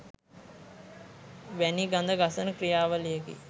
වැනි ගඳ ගසන ක්‍රියාවලියකි